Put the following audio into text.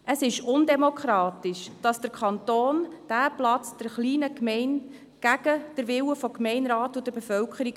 – Es ist undemokratisch, dass der Kanton der kleinen Gemeinde diesen Platz aufzwingt, entgegen dem Willen des Gemeinderates und der Bevölkerung.